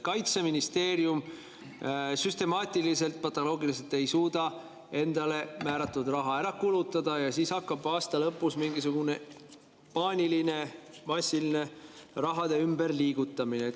Kaitseministeerium süstemaatiliselt, patoloogiliselt ei suuda endale määratud raha ära kulutada ja siis hakkab aasta lõpus mingisugune paaniline massiline raha ümberliigutamine.